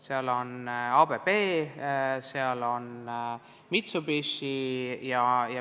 Seal on ABB, seal on Mitsubishi.